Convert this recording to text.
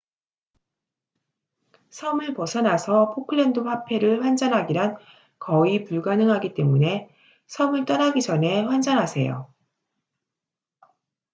섬을 벗어나서 포클랜드 화폐를 환전하기란 거의 불가능하기 때문에 섬을 떠나기 전에 환전하세요